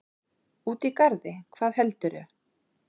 Úti í garði, hvað heldurðu!